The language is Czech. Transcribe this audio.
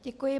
Děkuji.